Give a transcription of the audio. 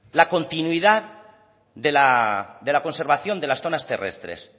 la continuidad de la conservación de las zonas terrestres